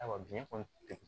Ayiwa biɲɛ kɔni degun